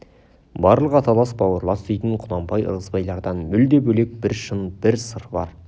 барлық аталас бауырлас дейтін құнанбай ырғызбайлардан мүлде бөлек бір шын бір сыр бар